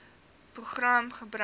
program gebruik